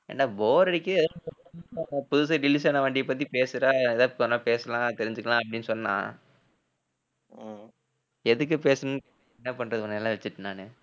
ஏன்டா bore அடிக்குது? புதுசா release ஆன வண்டிய பத்தி பேசுடா ஏதாவது கொஞ்சநேரம் பேசலாம் தெரிஞ்சுக்கலாம் அப்படின்னு சொன்னா எதுக்கு பேசணும் என்ன பண்றது உன்னை எல்லாம் வச்சிட்டு நானு